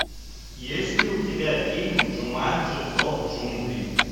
есть ли у тебя фильм джуманджи зов джунглей